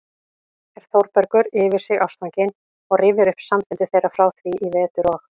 er Þórbergur yfir sig ástfanginn og rifjar upp samfundi þeirra frá því í vetur og